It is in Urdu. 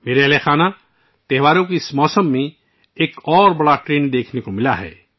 میرے پریوار جنو ، اس تہوار کے موسم میں ایک اور بڑا رجحان دیکھا گیا ہے